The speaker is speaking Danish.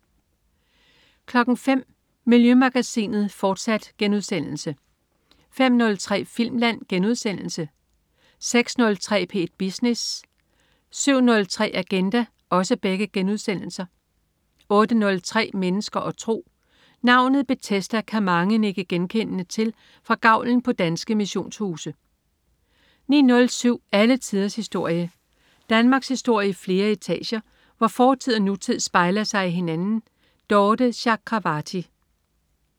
05.00 Miljømagasinet, fortsat* 05.03 Filmland* 06.03 P1 Business* 07.03 Agenda* 08.03 Mennesker og tro. Navnet Bethesda kan mange nikke genkendende til fra gavlen på danske missionshuse 09.07 Alle tiders historie. Danmarkshistorie i flere etager, hvor fortid og nutid spejler sig i hinanden. Dorthe Chakravarty